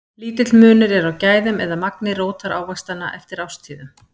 lítill munur er á gæðum eða magni rótarávaxtanna eftir árstíðum